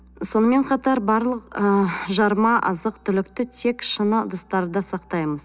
сонымен қатар барлық ы жарма азық түлікті тек шыны ыдыстарда сақтаймыз